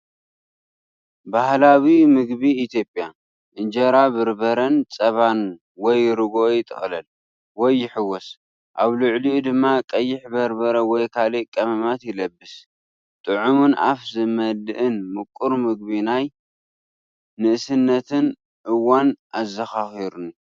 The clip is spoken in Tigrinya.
ባህላዊ ምግቢ ኢትዮጵያ፣ እንጀራ ብረበረን ፀባን (ወይ ርጉኦ) ይጥቕለል ወይ ይሕወስ፣ ኣብ ልዕሊኡ ድማ ቀይሕ በርበረ ወይ ካልእ ቀመማት ይለብስ። ጥዑምን ኣፍ ዝመልእን ምቁር ምግቢ ናይ ንእስነተይ እዋን ኣዘኻኺሩኒ..